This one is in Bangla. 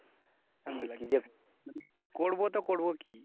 করবো তো করবো কি?